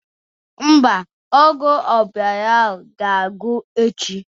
Mba, ọgwụ ọbara ahụ ga-agwụ echi